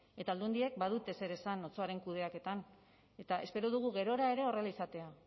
eta aldundiek badute zer esan otsoaren kudeaketan eta espero dugu gerora ere horrela izatea